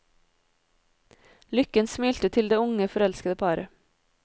Lykken smilte til det unge, forelskede paret.